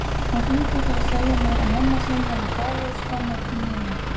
Hún hringdi til að segja mér að mamma sín hefði dáið skömmu eftir miðnætti.